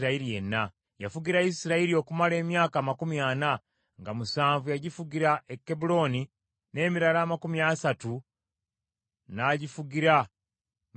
Yafugira Isirayiri okumala emyaka amakumi ana, nga musanvu yagifugira e Kebbulooni, n’emirala amakumi asatu n’agifugira mu Yerusaalemi.